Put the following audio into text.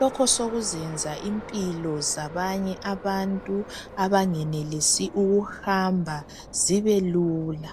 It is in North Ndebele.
lokhu sekuzenza impilo zabanye abantu abangenelisi ukuhamba zibelula.